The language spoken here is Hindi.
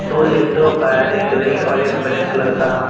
दो लैपटॉप है एक रेड और एक ब्लैक कलर का।